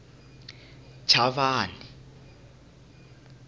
chavani